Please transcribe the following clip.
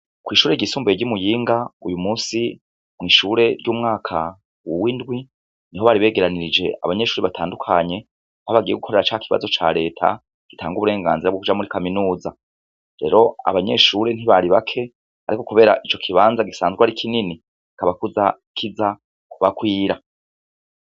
Kw'ishuri igisumbuye ry'umuyinga uyu musi mw'ishure ry'umwaka wuwo indwi ni ho baribegeranirije abanyeshuri batandukanye ko abagiye gukorera ca ikibazo ca leta gitanga uburenganzira bw'ukuja muri kaminuza rero abanyeshure ntibaribake, ariko, kubera ico kibanza gisanzwe ari kinini kabakuza kiza kubakwira.